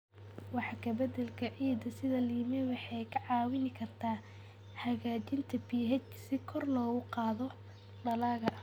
Wax ka beddelka ciidda sida lime waxay kaa caawin kartaa hagaajinta pH si kor loogu qaado dalagga.